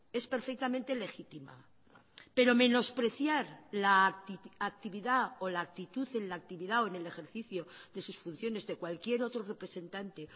es perfectamente legítima pero menospreciar la actividad o la actitud en la actividad o en el ejercicio de sus funciones de cualquier otro representante